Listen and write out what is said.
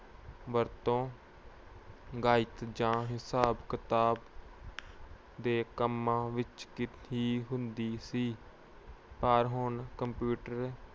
ਵਰਤੋਂ ਗਣਿਤ ਜਾਂ ਹਿਸਾਬ-ਕਿਤਾਬ ਦੇ ਕੰਮਾਂ ਵਿੱਚ ਹੁੰਦੀ ਸੀ। ਪਰ ਹੁਣ computer